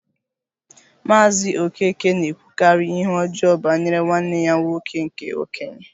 Maazị Okeke na-ekwukarị ihe ọjọọ banyere nwanne ya nwoke nke okenye